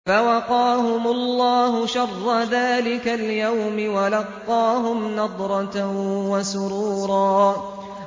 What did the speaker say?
فَوَقَاهُمُ اللَّهُ شَرَّ ذَٰلِكَ الْيَوْمِ وَلَقَّاهُمْ نَضْرَةً وَسُرُورًا